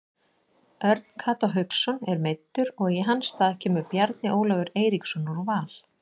Örn Kató Hauksson er meiddur og í hans stað kemur Bjarni Ólafur Eiríksson úr Val.